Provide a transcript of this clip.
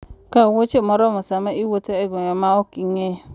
Kaw wuoche moromo sama iwuotho e gwenge ma ok ing'eyo.